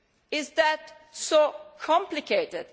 Is that so complicated?